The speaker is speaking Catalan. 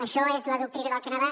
això és la doctrina del canadà